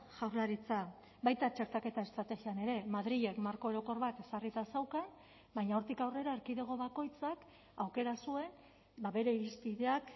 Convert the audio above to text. jaurlaritza baita txertaketa estrategian ere madrilek marko orokor bat ezarrita zeukan baina hortik aurrera erkidego bakoitzak aukera zuen bere irizpideak